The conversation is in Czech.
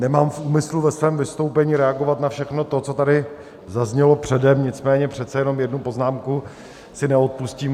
Nemám v úmyslu ve svém vystoupení reagovat na všechno to, co tady zaznělo předem, nicméně přece jenom jednu poznámku si neodpustím.